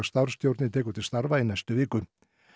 starfsstjórnin tekur til starfa í næstu viku